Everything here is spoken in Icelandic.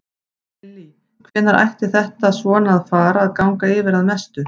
Lillý: Hvenær ætti þetta svona að fara að ganga að mestu yfir?